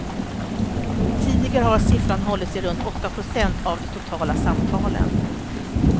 Tidigare har siffran hållit sig runt åtta procent av de totala samtalen.